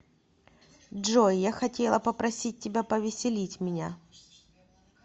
джой я хотела попросить тебя повеселить меня